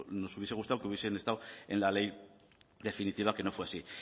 nos hubiese gustado que hubiesen estado en la ley definitiva que no fue así